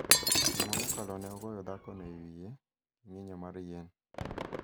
Juma mokalo, ne ogoyo dhakono e wiye gi ng�injo mar yien.